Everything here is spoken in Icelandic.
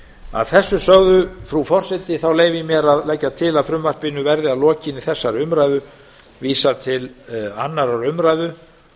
að þessu sögu frú forseti þá leyfi ég mér að leggja til að frumvarpinu verði að lokinni þessari umræðu vísað til annarrar umræðu